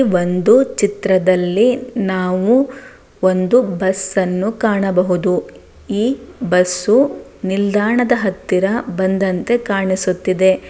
ಒಂದು ಚಿತ್ರದಲ್ಲಿ ನಾವು ಒಂದು ಬಸ್ ಅನ್ನು ಕಾಣಬಹುದು. ಈ ಬಸ್ಸು ನಿಲ್ದಾಣದ ಹತ್ತಿರ ಬಂದಂತೆ ಕಾಣಿಸುತ್ತಿದೆ.